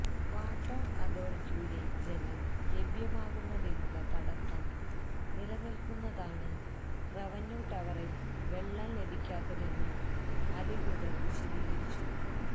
water അതോറിറ്റിയുടെ ജലം ലഭ്യമാകുന്നതിനുള്ള തടസ്സം നിലനില്ക്കുന്നതാണ് റവന്യൂ ടവറില് വെള്ളം ലഭിക്കാത്തതെന്ന് അധികൃതര് വിശദീകരിച്ചി